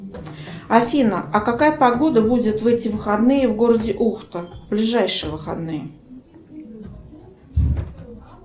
афина а какая погода будет в эти выходные в городе ухта ближайшие выходные